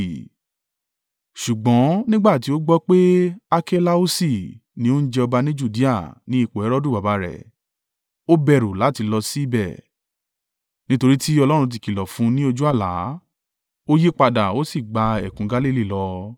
Ṣùgbọ́n nígbà tí ó gbọ́ pé Akelausi ni ó ń jẹ ọba ní Judea ní ipò Herodu baba rẹ̀, ó bẹ̀rù láti lọ sí ì bẹ̀. Nítorí tí Ọlọ́run ti kìlọ̀ fún un ní ojú àlá, ó yí padà, ó sì gba ẹkùn Galili lọ,